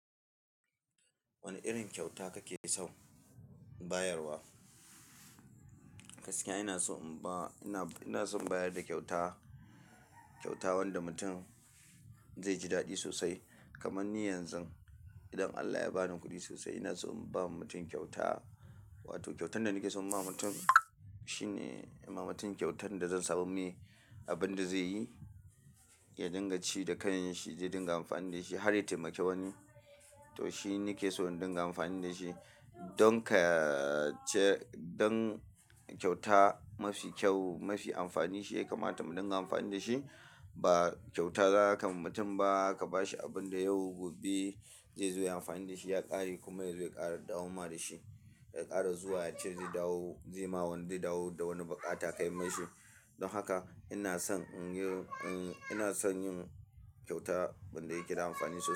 Wani irin kyauta kake so in bayar wa? Gaskiya ina so in ba, ina, ina son in bayar da kyauta, kyauta wanda mutum zai ji daɗi sosai. Kamanni yanzu idan Allah ya ba ni kuɗi sosai ina so in ba wa mutum kyauta. Wato kyautan da nake so in ba mutum shine in ba mutum kyautan da zan samu mai abin da zai yi, ya dinga ci da kan shi, zai dinga amfani da shi. Harya taimaki wani, to shi nake so in dinga amfani da shi. Don ka ce, don kyauta mafi kyau, mafi amfani shi ya kamata mu dinga amfani da shi ba kyauta za ka ma mutum ba, ka ba shi abin da yau gobe zai zo ya yi amfani da shi ya ƙare kuma yazo ya ƙara dawoma da shi. Ya ƙara zuwa cewa zai dawo, zai ma wani zai dawo da wani baƙa ta kai mai shi. Don haka ina son in yi, ina son yin kyauta wanda yake da amfani sosai.